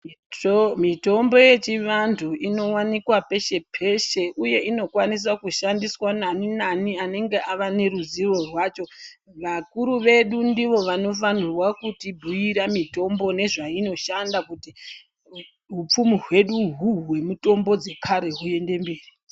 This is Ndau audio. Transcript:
Mitombo yechivanhu inowanikwa peshe peshe uye inokwanisa kushandiswa nani nani anenge avaneruzivo rwacho vakuru vedu ndivovanofanira kuti bhuira mitombo nezvainoshanda kuti hupfumi hwedu hwemutombo yekare huende mberi.